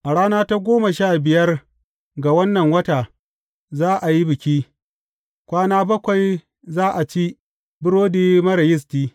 A rana ta goma sha biyar ga wannan wata, za a yi biki; kwana bakwai za a ci burodi marar yisti.